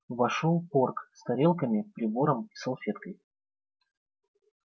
вошёл порк с тарелками прибором и салфеткой